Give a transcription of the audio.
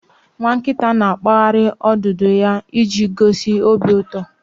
Nwa nkita na-akpaghari odudu ya iji gosi obi uto